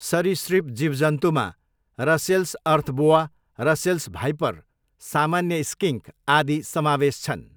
सरीसृप जीवजन्तुमा Russell's earth boa, Russell's viper, सामान्य स्किन्क आदि समावेश छन्।